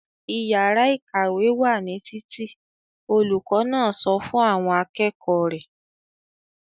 "Ìyàrá-ìkàwé wà ní títì!" Olùkọ́ náà sọ fún àwọn akẹ́kọ̀ọ́ rẹ̀.